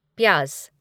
प्याज